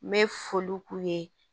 N bɛ foli k'u ye